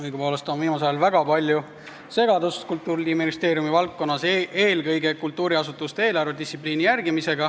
Õigupoolest on viimasel ajal Kultuuriministeeriumi valdkonnas väga palju segadust, eelkõige kultuuriasutuste eelarvedistsipliini järgimisel.